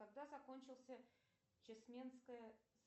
когда закончился чесменская